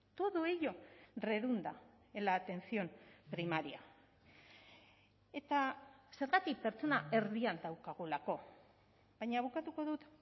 todo ello redunda en la atención primaria eta zergatik pertsona erdian daukagulako baina bukatuko dut